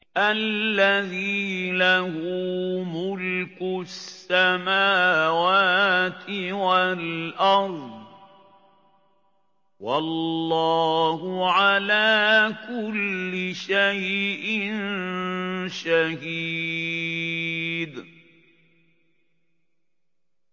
الَّذِي لَهُ مُلْكُ السَّمَاوَاتِ وَالْأَرْضِ ۚ وَاللَّهُ عَلَىٰ كُلِّ شَيْءٍ شَهِيدٌ